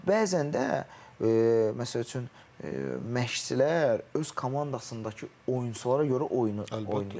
Yəni bəzən də məsəl üçün məşqçilər öz komandasında olan oyunçulara görə oyunu oynayır.